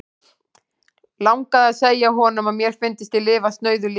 Langaði að segja honum, að mér fyndist ég lifa snauðu lífi.